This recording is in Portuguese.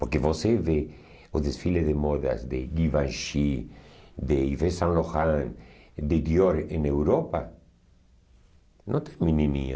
Porque você vê o desfile de modas de Givenchy, de Yves Saint Laurent, de Dior em Europa, não tem menininha.